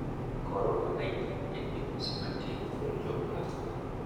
Korona 19 en midhusi matin kuom jok moko.